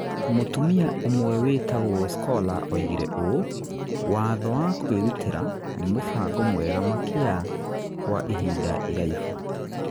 Mũtumia ũmwe wĩtagwo Scola oigire ũũ: "watho wa kwĩrutĩra" nĩ mũbango mwega makia kwa ihinda iraibu